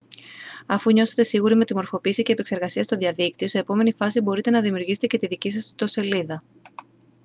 αφού νιώσετε σίγουροι με τη μορφοποίηση και επεξεργασία στο διαδίκτυο σε επόμενη φάση μπορείτε να δημιουργήσετε και τη δική σας ιστοσελίδα